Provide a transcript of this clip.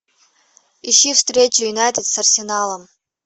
ищи встречу юнайтед с арсеналом